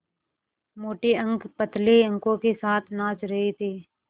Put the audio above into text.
मोटे अंक पतले अंकों के साथ नाच रहे थे